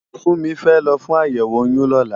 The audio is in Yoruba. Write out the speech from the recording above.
Funmi fè lò fún àyèwó óyùn lòlá